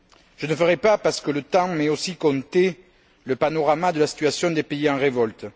Je ne dresserai pas parce que le temps m'est aussi compté le panorama de la situation des pays en révolte.